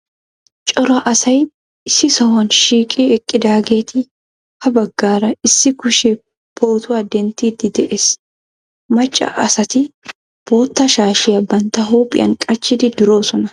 Cora asay issi sohuwan shiiqqi eqqidaageta ha baggaara issi kushe pootuwa denttiidi de'ees. Macca asati bootta shaashiya bantta huuphiyan qacciidi duroosona.